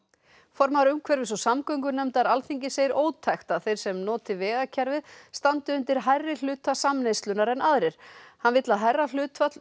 formaður umhverfis og samgöngunefndar Alþingis segir ótækt að þeir sem noti vegakerfið standi undir hærri hluta samneyslunnar en aðrir hann vill að hærra hlutfall